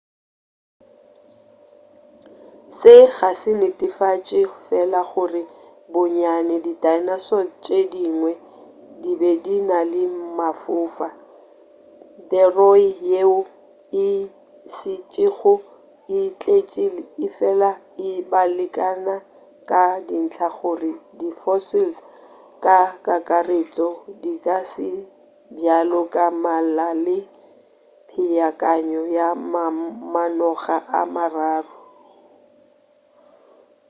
se ga se netefatše fela gore bonnyane di dinosaurs tše dingwe di be di na le mafofa theroy yeo e šetšego e tletši efela e abelana ka dintla gore di fossils ka kakaretšo di ka se bjalo ka mmala le peakanyo ya mamanoga a mararo